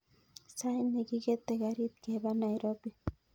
Sait nekikete karit kepa nairobi